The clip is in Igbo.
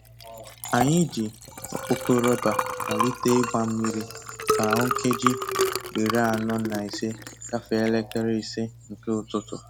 Anyị ji okpoko rọba malite ịgba mmiri ka o nkeji iri anọ na ise gafee elekere ise nke ụtụtụ.